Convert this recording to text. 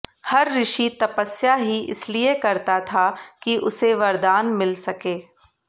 हर ऋषि तपस्या ही इसलिए करता था कि उसे वरदान मिल सके